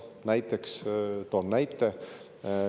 Noh, toon näite.